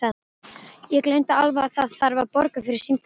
Ég gleymdi alveg að það þarf að borga fyrir símtalið.